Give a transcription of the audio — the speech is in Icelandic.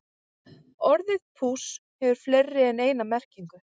Orðið púss hefur fleiri en eina merkingu.